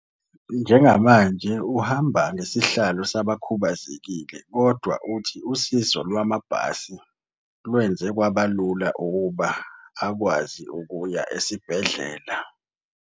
Njengamanje uhamba ngesihlalo sabakhubazekile kodwa uthi usizo lwamabhasi lwenze kwaba lula ukuba akwazi ukuya esibhedlela.